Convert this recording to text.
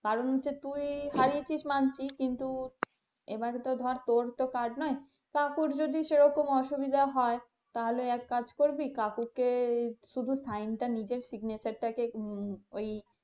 কারণ যে তুই হারিয়েছিস মানছি কিন্তু এবারে তো ধর তোর তো কাজ নয়, কাকুর যদি সেরকম অসুবিধা হয় তাহলে এক কাজ করবি কাকুকে শুধু sign টা নিজের signature টাকে ওই,